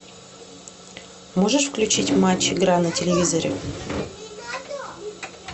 можешь включить матч игра на телевизоре